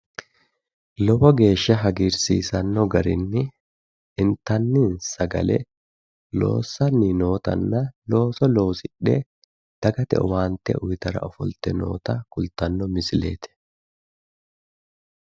Lowo geeshsha hagiirsisano garinni sagale loosidhe looso kalaqe dagate owaante uyittanni nootta kulittano misileti